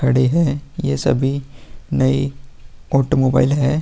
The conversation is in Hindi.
खड़ी हैं ये सभी नई ऑटो मोबाइल है।